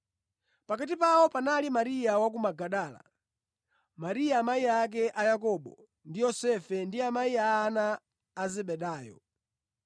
Pakati pawo panali Mariya wa ku Magadala, Mariya amayi ake Yakobo ndi Yosefe ndi amayi a ana a Zebedayo.